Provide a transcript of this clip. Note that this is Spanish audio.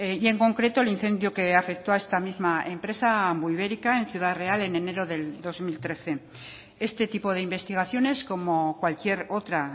y en concreto el incendio que afectó a esta misma empresa ambuibérica en ciudad real en enero del dos mil trece este tipo de investigaciones como cualquier otra